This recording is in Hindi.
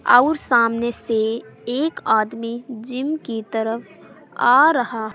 और सामने से एक आदमी जिम की तरफ आ रहा--